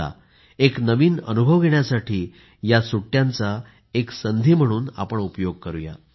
चला एक नवीन अनुभव घेण्यासाठी या सुट्ट्यांचा एक संधी म्हणून उपयोग करूया